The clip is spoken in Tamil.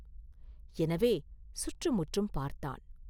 எனவே, சுற்றுமுற்றும் பார்த்தான்.